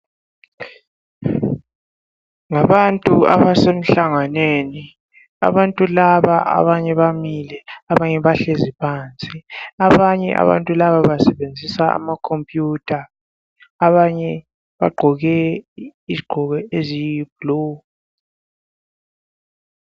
Ngabantu abase mhlanganweni abantu laba abanye bamile abanye bahlezi phansi. Abanye abantu laba basebenzisa amakhompiyutha abanye ugqoke izigqoko eziyi blue.